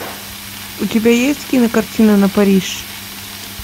у тебя есть кинокартина на париж